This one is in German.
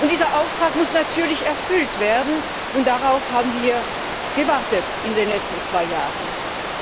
Dieser Auftrag muss natürlich erfüllt werden, und darauf haben wir in den letzten zwei Jahren gewartet.